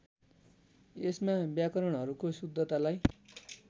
यसमा व्याकरणहरूको शुद्धतालाई